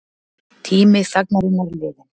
Tími þagnarinnar liðinn